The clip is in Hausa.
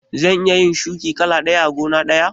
Za'a iya shuki kala ɗaya a gona ɗaya?